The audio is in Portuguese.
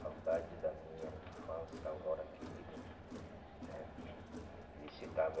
Saudade da minha infância, Aurora querida, né? ele citava